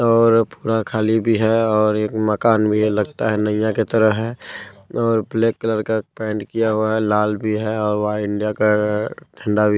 --और पुरा खाली भी है और एक मकान भी है लगता है नैया के तरह है और ब्लैक कलर का पेंट किया हुआ है लाल भी है और वहाँ इंडिया का झण्डा भी--